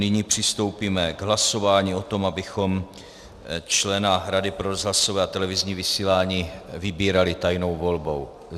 Nyní přistoupíme k hlasování o tom, abychom člena Rady pro rozhlasové a televizní vysílání vybírali tajnou volbou.